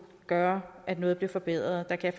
gøre at noget blev forbedret der kan